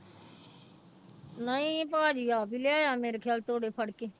ਨਹੀਂ ਭਾਜੀ ਆਪ ਹੀ ਲਿਆਇਆ ਮੇਰੇ ਖਿਆਲ ਤੋੜੇ ਫੜਕੇ।